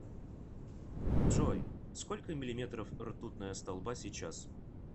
джой сколько миллиметров ртутная столба сейчас